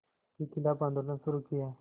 के ख़िलाफ़ आंदोलन शुरू किया